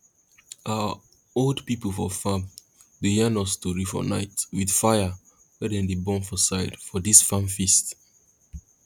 our old pipo for farm dey yarn us tori for night with fire wey dey burn for side for dis farm feast